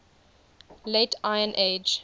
late iron age